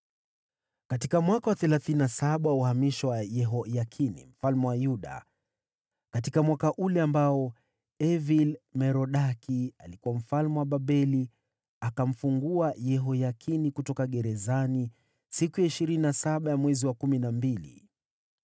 Katika mwaka wa thelathini na saba tangu Yehoyakini mfalme wa Yuda apelekwe uhamishoni, katika mwaka ule ambao Evil-Merodaki alifanyika mfalme wa Babeli, alimwacha huru Yehoyakini kutoka gerezani siku ya ishirini na saba ya mwezi wa kumi na mbili.